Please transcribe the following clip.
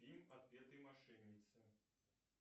фильм отпетые мошенницы